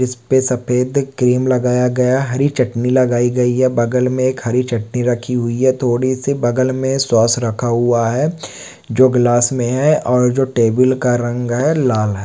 इस पर सफेद क्रीम लगाया गया हरी चटनी लगाई गई है बगल में एक हरी चटनी रखी हुई है थोड़ी सी बगल में सॉस रखा हुआ है जो गिलास में हैऔर जो टेबल का रंग हैलाल है ।